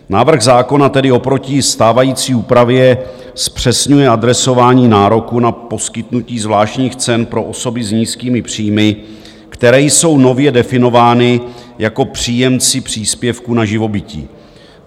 Návrh zákona tedy oproti stávající úpravě zpřesňuje adresování nároku na poskytnutí zvláštních cen pro osoby s nízkými příjmy, které jsou nově definovány jako příjemci příspěvku na živobytí.